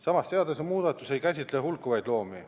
Samas, seadusemuudatus ei käsitle hulkuvaid loomi.